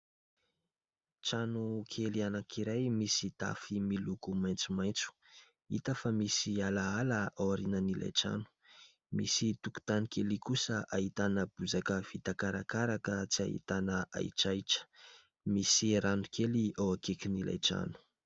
Trano kely anankiray misy tafo miloko maitsomaintso, hita fa misy ala ala ao aorinan'ilay trano, misy tokontany kely kosa ahitana bozaka vita karakaraka ka tsy ahitana ahitrahitra, misy rano kely eo akaikin'ilay trano.